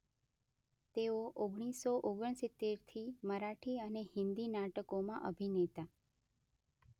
તેઓ ઓગણીસો ઓગણસિત્તેરથી મરાઠી અને હિન્દી નાટકોમાં અભિનેતા